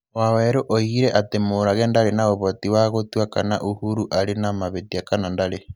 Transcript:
Waweru oigire atĩ Mũrage ndarĩ na ũvoti "wa gũtua kana Uhuru arĩ na mavĩtia kana ndarĩ".